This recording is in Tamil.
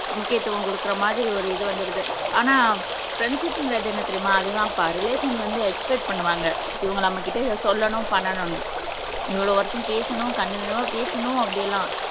முக்கியத்துவம் கொடுக்குற மாதிரி ஒரு இது வந்துடுது ஆனா ஃப்ரண்ட்ஷிப்ங்குறது என்ன தெரியுமா அது தான் பா ரிலேஷன் வந்து எக்ஸ்பெக்ட் பண்ணுவாங்க இவங்க நம்ம கிட்ட இத சொல்லணும் பண்ணனும்னு இவ்ளோ வருஷம் பேசணும் கண்டினுயுவா பேசணும் அப்படி எல்லாம்